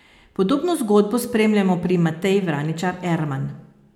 Podobno zgodbo spremljamo pri Mateji Vraničar Erman.